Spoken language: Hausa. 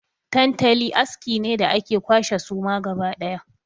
Tantali aski ne da ake kwashe suma gaba ɗaya.